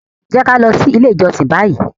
Jẹ ki a lọ si ile ijọsin bayi!